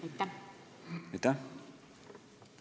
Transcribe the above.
Aitäh!